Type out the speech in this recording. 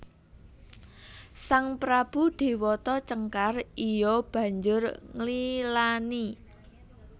Sang prabu Déwata Cengkar iya banjur nglilani